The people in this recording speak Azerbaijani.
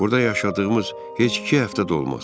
Burda yaşadığımız heç iki həftə də olmaz.